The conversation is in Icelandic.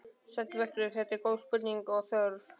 Sæll vertu, þetta eru góð spurning og þörf.